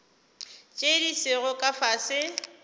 tše di sego ka fase